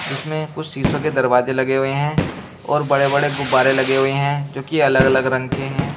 जिसमें कुछ शीशों के दरवाजे लगे हुए हैं और बड़े बड़े गुब्बारे लगे हुए हैं जो की अलग अलग रंग के हैं।